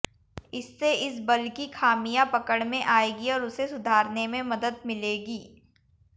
इससे इस बल की खामियां पकड़ में आएंगी और उसे सुधारने में मदद मिलेगी